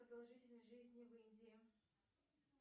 продолжительность жизни в индии